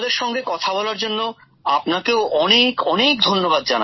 আমাদের সঙ্গে কথা বলার জন্য আপনাকেও অনেক অনেক ধন্যবাদ